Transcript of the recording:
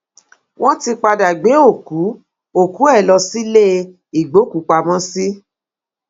wọn ti padà gbé òkú òkú ẹ lọ sílé ìgbókùúpamọsí